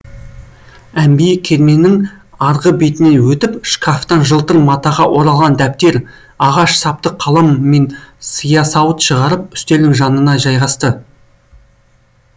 әмбие керменің арғы бетіне өтіп шкафтан жылтыр матаға оралған дәптер ағаш сапты қалам мен сиясауыт шығарып үстелдің жанына жайғасты